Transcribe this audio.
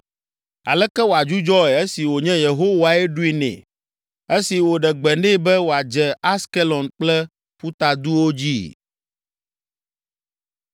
Aleke wòadzudzɔe esi wònye Yehowae ɖoe nɛ, esi wòɖe gbe nɛ be wòadze Askelon kple ƒutaduwo dzi?”